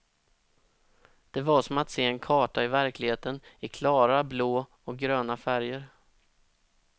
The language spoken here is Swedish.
Det var som att se en karta i verkligheten, i klara blå och gröna färger.